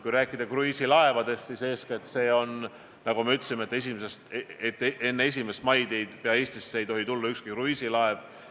Kui rääkida kruiisilaevadest, siis nagu ma juba ütlesin, enne 1. maid ei tohi Eestisse tulla ükski kruiisilaev.